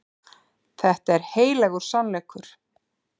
Þetta er heilagur sannleikur.